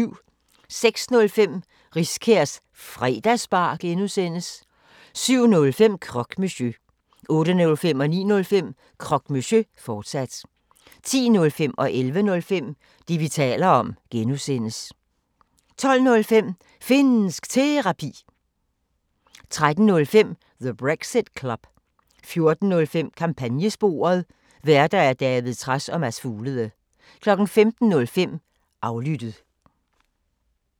06:05: Riskærs Fredagsbar (G) 07:05: Croque Monsieur 08:05: Croque Monsieur, fortsat 09:05: Croque Monsieur, fortsat 10:05: Det, vi taler om (G) 11:05: Det, vi taler om (G) 12:05: Finnsk Terapi 13:05: The Brexit Club 14:05: Kampagnesporet: Værter: David Trads og Mads Fuglede 15:05: Aflyttet